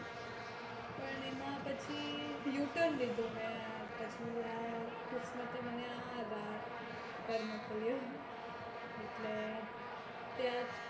પણ એમાં પછી uturn લીધો મેં કિસ્મતે મને ત્યાં મોકલ્યું